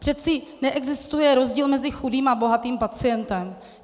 Přece neexistuje rozdíl mezi chudým a bohatým pacientem.